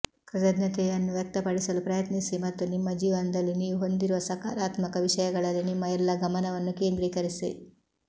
ಕೃತಜ್ಞತೆಯನ್ನು ವ್ಯಕ್ತಪಡಿಸಲು ಪ್ರಯತ್ನಿಸಿ ಮತ್ತು ನಿಮ್ಮ ಜೀವನದಲ್ಲಿ ನೀವು ಹೊಂದಿರುವ ಸಕಾರಾತ್ಮಕ ವಿಷಯಗಳಲ್ಲಿ ನಿಮ್ಮ ಎಲ್ಲ ಗಮನವನ್ನು ಕೇಂದ್ರೀಕರಿಸಿ